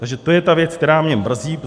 Takže to je ta věc, která mě mrzí.